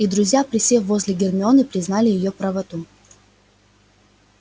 и друзья присев возле гермионы признали её правоту